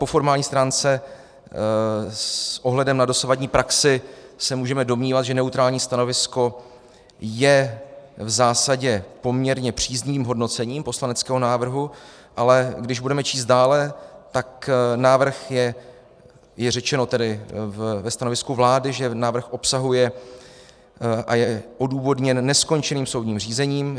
Po formální stránce s ohledem na dosavadní praxi se můžeme domnívat, že neutrální stanovisko je v zásadě poměrně příznivým hodnocením poslaneckého návrhu, ale když budeme číst dále, tak návrh je - je řečeno tedy ve stanovisku vlády, že návrh obsahuje a je odůvodněn neskončeným soudním řízením.